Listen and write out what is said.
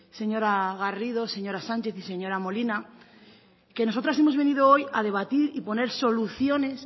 señora garrido señora sánchez y señora molina que nosotras hemos venido hoy a debatir y poner soluciones